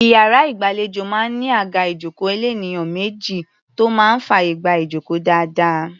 Iyàrá ìgbàlejò máa ń ní àga ìjókòó elénìyàn méjì tó máa ń fàyè gba ìjókòó dáadáa.